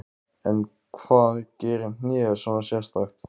En hvað gerir hnéð svona sérstakt?